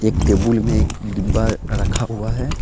एक टेबुल में एक डिब्बा रखा हुआ है।